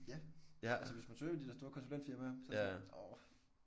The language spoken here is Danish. Ja ja altså hvis man søger de der store konsulentfirmaer så orh